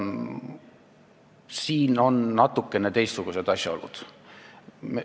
Aga mängus on natukene teistsugused asjaolud.